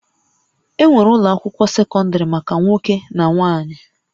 Enwere ụlọ akwụkwọ sekọndrị maka nwoke na nwanyị